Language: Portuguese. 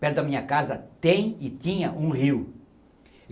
perto da minha casa, tem e tinha um rio.